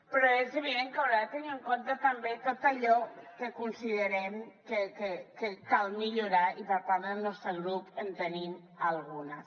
però és evident que haurà de tenir en compte també tot allò que considerem que cal millorar i per part del nostre grup en tenim algunes